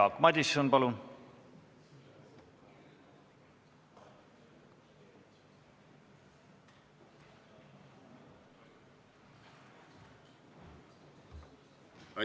Jaak Madison, palun!